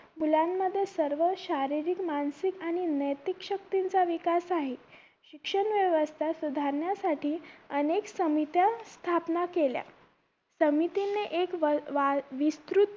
मुलांमध्ये सर्व शारीरिक मानसिक आणि नैतिक शक्तींचा विकास आहे शिक्षण व्यवस्था सुधारण्यासाठीं अनेक समित्या स्थापना केल्या समितीने एक वा विस्तृत